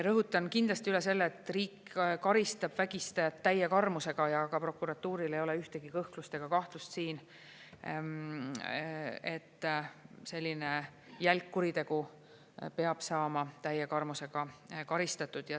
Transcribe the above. Rõhutan kindlasti üle selle, et riik karistab vägistajat täie karmusega ja ka prokuratuuril ei ole ühtegi kõhklust ega kahtlust siin, et selline jälg kuritegu peab saama täie karmusega karistatud.